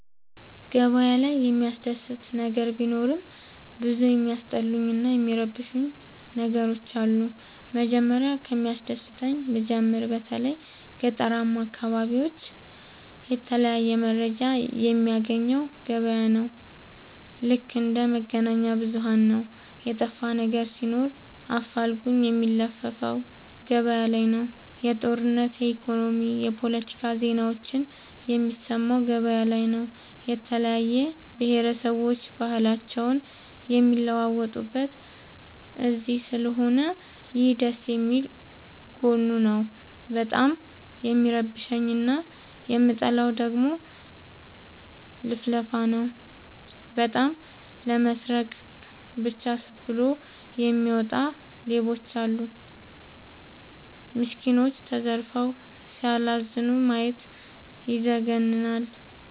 ገበያ ላይ የሚያስደስ ነገር ቢኖርም ብዙ የሚያስጠሉኝ እና የሚረብሸኝ ነገሮች አሉ። መጀመሪያ ከሚያስደስተኝ ልጀምር በተለይ ገጠራማ አካቢዎች የተለያየ መረጃ የሚያገኘው ገበያ ነው። ልክ እንደ መገናኛብዙኋን ነው የጠፋነገር ሲኖር አፋልጉኝ የሚለፍፈው ገበያላይ ነው። የጦርነት የኢኮኖሚ የፓለቲካ ዜናዎችን የሚሰማው ገበያ ላይ ነው። የተለያየ ብሆረሰቦች ባህልአቸውን የሚለዋወጡት እዚስለሆነ ይህ ደስየሚል ጎኑ ነው። በጣም የሚረብሸኝ እና የምጠላው ደግሞ ልፍልፍ ነው። በጣም ለመስረቃ ብቻ ብሎ የሚወጣ ሌባም አለ። ሚስኩኖች ተዘርፈው ሲያላዝኑ ማየት ይዘገንናል።